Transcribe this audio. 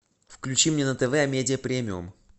включи мне на тв амедия премиум